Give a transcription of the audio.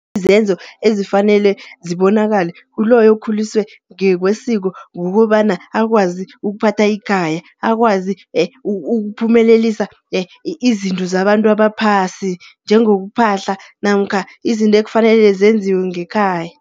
Izenzo ezifanele zibonakala kuloyo okhuliswe ngekwesiko, kukobana akwazi ukuphatha ikhaya. Akwazi ukuphumelelisa izinto zabantu abaphasi. Njengokuphahla namkha izinto ekufanele zenziwe ngekhaya.